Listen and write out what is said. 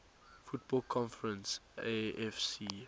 football conference afc